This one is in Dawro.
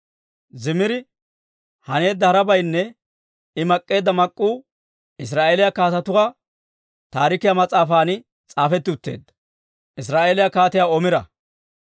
Zimiri haneedda harabaynne I mak'k'eedda mak'k'uu Israa'eeliyaa Kaatetuu Taarikiyaa mas'aafan s'aafetti utteedda.